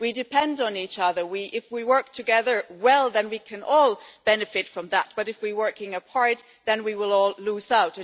We do depend on each other. If we work together well then we can all benefit from that, but if we work apart, then we will all lose out.